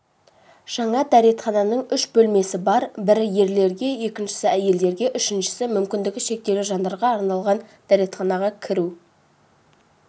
жаңа дәретхананың үш бөлмесі бар бірі ерлерге екіншісі әйелдерге үшіншісі мүмкіндігі шектеулі жандарға арналған дәретханаға кіру